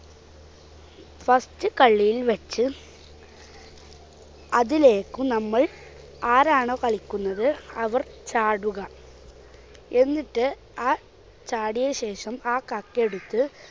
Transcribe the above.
first കള്ളിയിൽ വെച്ച് അതിലേക്ക് നമ്മൾ ആരാണോ കളിക്കുന്നത് അവർ ചാടുക. എന്നിട്ട് ആ ചാടിയതിനുശേഷം ആ കക്ക് എടുത്ത്